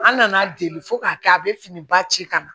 An nana deli fo k'a kɛ a bɛ fini ba ci ka na